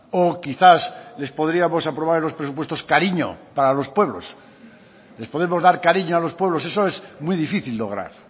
o quizás les podríamos aprobar en los presupuestos cariño para los pueblos les podemos dar cariño a los pueblos eso es muy difícil lograr